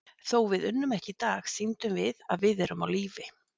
Þó við unnum ekki í dag, sýndum við að við erum á lífi.